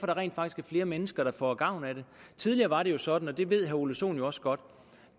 der rent faktisk er flere mennesker der får gavn af det tidligere var det jo sådan og det ved herre ole sohn også godt